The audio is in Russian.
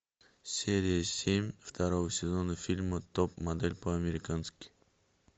серия семь второго сезона фильма топ модель по американски